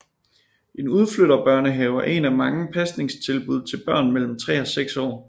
En udflytterbørnehave er et af mange pasningstilbud til børn mellem 3 og 6 år